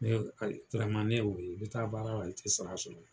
ne y'o ye, i be taa baara la i te sara sɔrɔ.